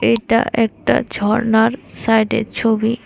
এটা একটা ঝর্ণার সাইডের ছবি।